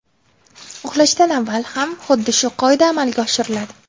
Uxlashdan avval ham xuddi shu qoida amalga oshiriladi.